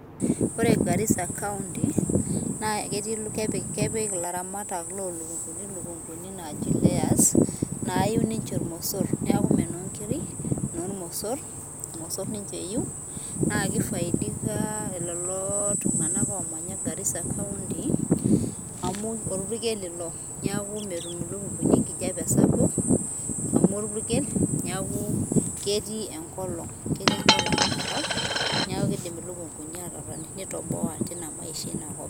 ore garisa county naa kepik iltung'anak ilukunguni naaji layers ,naayiu ninche irmosor. neeku ime inoo nkiri, irmosor ninche eyiu, naa kifaidika lelo tung'anak oomanya garisa kaunti. amu orpukel ilo. neeku metum iluknkuni enkijiape sapuk, amu orpukel, neeku ketii enkolong' ina kop. neeku kidim iluknkuni aatotoni, nitoboa maisha eina kop.